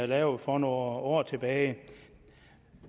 lavede for nogle år tilbage